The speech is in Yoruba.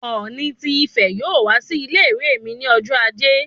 Oòni ti Ìfẹ yóò wá sí ilé-ìwé mí ní ọjọ ajé